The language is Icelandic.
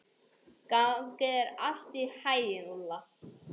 Gangi þér allt í haginn, Úlla.